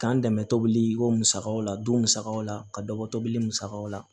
K'an dɛmɛ tobili ko musakaw la du musakaw la ka dɔ bɔ tobili musakaw la